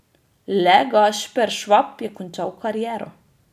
Le Gašper Švab je končal kariero.